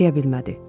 Yaşaya bilmədi.